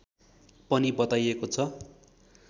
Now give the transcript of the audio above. पनि बताइएको छ